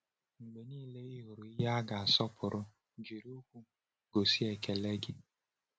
Mgbe niile ị hụrụ ihe a ga-asọpụrụ, jiri okwu gosi ekele gị.